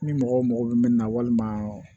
Ni mɔgɔ mago bɛ min na walima